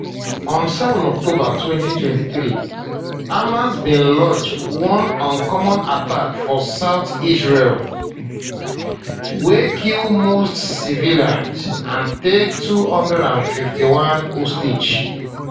on 7 october 2023 hamas bin launch one uncommon attack for southern israel um wey kill mostly civilians and take 251 hostages